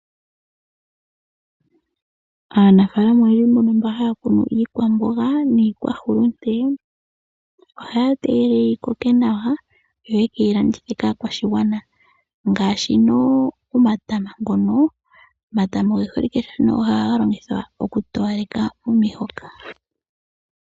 Aanafaalama oyendji mbono mba haya kunu iikwamboga niikwahulute ohaya tegelele yi koke nawa yo yekeyi landithe kaakwashigwana ngaashi n' omatama ngono ,omatama oge holike nohaga longithwa oku towaleka omihoka.